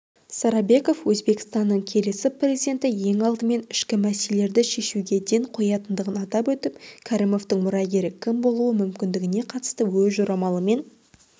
сарабеков өзбекстанның келесі президенті ең алдымен ішкі мәселелерді шешуге ден қоятындығын атап өтіп кәрімовтің мұрагері кім болуы мүмкіндігіне қатысты өз жорамалымен